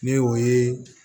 Ne y'o ye